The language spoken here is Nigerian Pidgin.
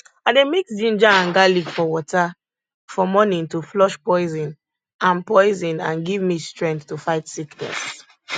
i dey mix ginger and garlic for water for morning to flush poison and poison and give me strength to fight sickness